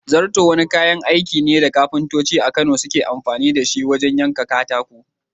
Zarto wani kayan aiki ne da kafintoci a Kano suke amfani da shi wajen yanka katako.